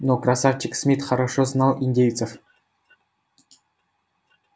но красавчик смит хорошо знал индейцев